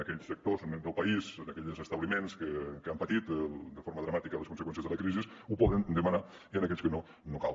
aquells sectors del país aquells establiments que han patit de forma dramàtica les conseqüències de la crisi ho poden demanar i aquells que no no cal